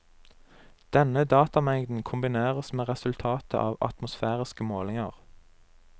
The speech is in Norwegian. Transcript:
Denne datamengden kombineres med resultatet av atmosfæriske målinger.